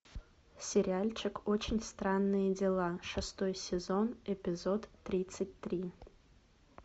сериальчик очень странные дела шестой сезон эпизод тридцать три